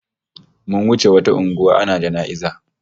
Mun wuce wata unguwa ana jana'iza